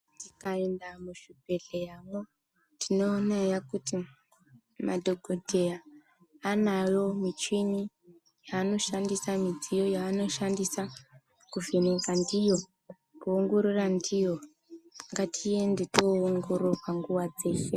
Tikaenda muzvibhedhleramwo tinoonaiyoyo he kuti vanayo michini yanoshandisa kuvheneka ndiyo ngatiende toongororwa nguwa dzeshe.